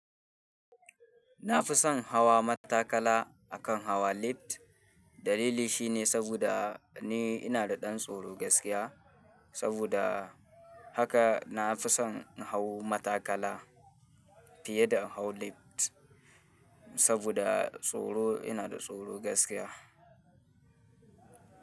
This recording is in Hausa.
Nafison hawa matakala akan hawa lift. Dalili shine saboda ni ina da ɗan tsoro gaskiya. Saboda haka na fi son in hau matakala fiye da in hau lift saboda tsoro. Ina da tsoro gaskiya.